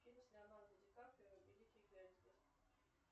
фильм с леонардо ди каприо великий гэтсби